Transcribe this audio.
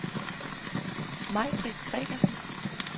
Majbritt Gregersen